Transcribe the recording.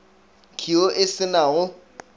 khiro e se na go